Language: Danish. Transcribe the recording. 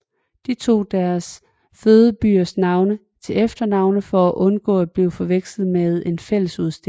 De tog deres fødebyers navne til efternavne for at undgå at blive forvekslet ved en fælles udstilling